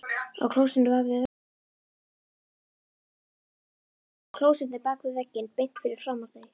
Á klósettinu bak við vegginn beint fyrir framan þau!